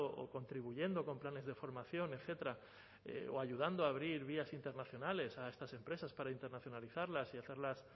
o contribuyendo con planes de formación etcétera o ayudando a abrir vías internacionales a estas empresas para internacionalizarlas y hacerlas